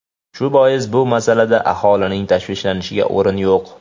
Shu bois bu masalada aholining tashvishlanishiga o‘rin yo‘q.